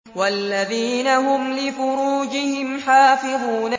وَالَّذِينَ هُمْ لِفُرُوجِهِمْ حَافِظُونَ